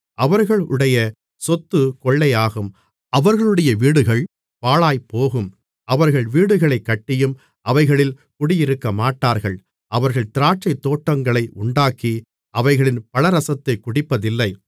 அவர்களுடைய சொத்து கொள்ளையாகும் அவர்களுடைய வீடுகள் பாழாய்ப்போகும் அவர்கள் வீடுகளைக் கட்டியும் அவைகளில் குடியிருக்கமாட்டார்கள் அவர்கள் திராட்சைத்தோட்டங்களை உண்டாக்கி அவைகளின் பழரசத்தைக் குடிப்பதில்லை